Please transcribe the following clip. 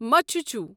مچھُچھو